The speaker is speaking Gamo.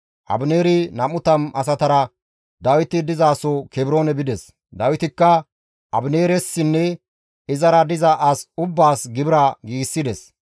Abineeri 20 asatara Dawiti dizaso Kebroone bides; Dawitikka Abineeressinne izara diza as ubbaas gibira giigsides.